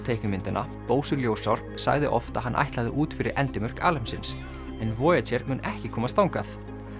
teiknimyndanna Bósi ljósár sagði oft að hann ætlaði út fyrir endimörk alheimsins en mun ekki komast þangað